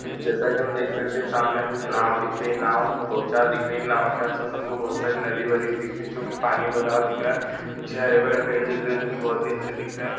जैसा कि हम देख सकते है सामने हमको एक नाव दिख रही है नाव दो चार दिख रही है नाव के आस-पास हमको बहुत नदी वदी दिख रही है जोकि पानी भरा हुआ दिख रहा है पीछे हरे भरे पेड़ दिख रहे हैं जोकि बहुत ही अच्छे दिख रहें हैं।